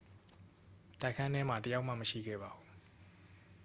တိုက်ခန်းထဲမှာ တစ် ယောက်မှ မရှိခဲ့ပါဘူး